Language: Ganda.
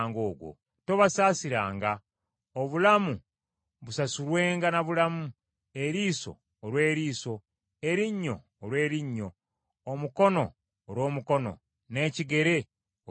Tobasaasiranga; obulamu busasulwenga na bulamu, eriiso olw’eriiso, erinnyo olw’erinnyo, omukono olw’omukono n’ekigere olw’ekigere.